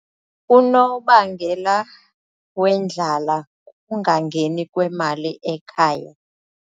Unobangela wendlala kukungangeni kwemali ekhaya.